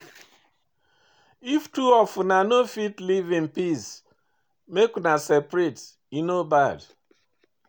If two of una no fit live in peace, make una separate, e no bad.